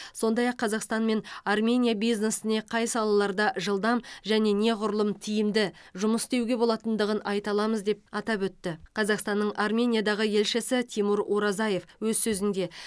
сондай ақ қазақстан мен армения бизнесіне қай салаларда жылдам және неғұрлым тиімді жұмыс істеуге болатындығын айта аламыз деп атап өтті қазақстанның армениядағы елшісі тимур оразаев өз сөзінде